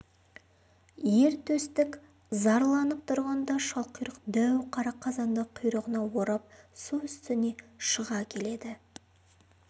ер төстік зарланып тұрғанда шалқұйрық дәу қара қазанды құйрығына орап су үстіне шыға келеді